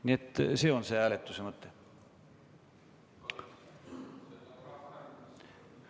Nii et see on hääletuse mõte.